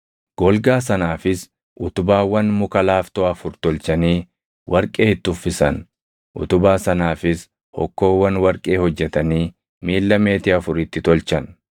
Golgaa sanaafis utubaawwan muka laaftoo afur tolchanii warqee itti uffisan; utubaa sanaafis hokkoowwan warqee hojjetanii miilla meetii afur itti tolchan.